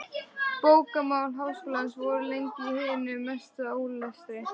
Bókamál Háskólans voru lengi í hinum mesta ólestri.